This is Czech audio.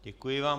Děkuji vám.